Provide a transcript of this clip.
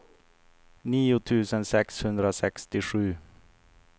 nio tusen sexhundrasextiosju